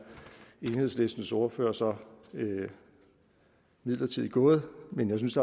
enhedslistens ordfører så midlertidigt gået men jeg synes